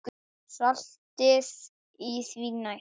Saltið því næst.